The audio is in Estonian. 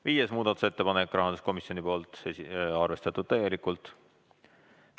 Viies muudatusettepanek, samuti rahanduskomisjonilt, arvestatud täielikult.